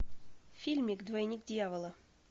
фильмик двойник дьявола